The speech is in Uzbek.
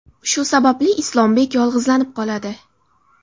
Shu sababli Islombek yolg‘izlanib qoladi.